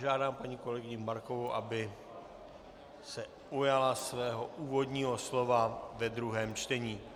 Žádám paní kolegyni Markovou, aby se ujala svého úvodního slova ve druhém čtení.